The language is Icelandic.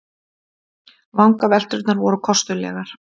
Vangavelturnar voru kostulegar.